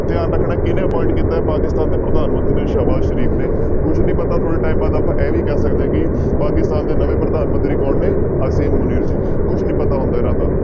ਧਿਆਨ ਰੱਖਣਾ ਹੈ ਕਿਹਨੇ appoint ਕੀਤਾ ਹੈ ਪਾਕਿਸਤਾਨ ਦੇ ਪ੍ਰਧਾਨ ਮੰਤਰੀ ਨੂੰ ਸਾਬਾਸ਼ ਕੁੱਝ ਨੀ ਪਤਾ ਥੋੜ੍ਹੇ time ਬਾਅਦ ਆਪਾਂ ਇਹ ਵੀ ਕਹਿ ਸਕਦੇ ਹਾਂ ਕਿ ਪਾਕਿਸਤਾਨ ਦੇ ਨਵੇਂ ਪ੍ਰਧਾਨ ਮੰਤਰੀ ਕੌਣ ਨੇ ਅਸੀਮ ਮੁਨੀਰ ਜੀ ਕੁਛ ਨੀ ਪਤਾ ਹੁੰਦਾ ਇਹਨਾਂ ਦਾ।